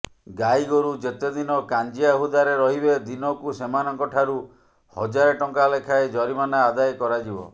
ଗାଈଗୋରୁ ଯେତେ ଦିନ କାଞ୍ଜିଆ ହୁଦାରେ ରହିବେ ଦିନକୁ ସେମାନଙ୍କଠାରୁ ହଜାରେ ଟଙ୍କା ଲେଖାଏ ଜରିମାନା ଆଦାୟ କରାଯିବ